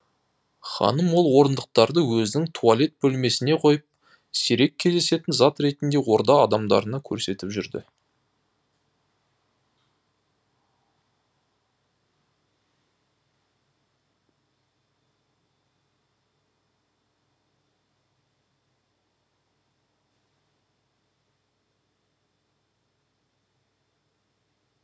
ханым ол орындықтарды өзінің туалет бөлмесіне қойып сирек кездесетін зат ретінде орда адамдарына көрсетіп жүрді